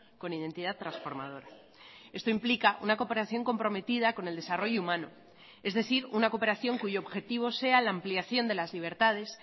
con identidad transformadora esto implica una cooperación comprometida con el desarrollo humano es decir una cooperación cuyo objetivo sea la ampliación de las libertades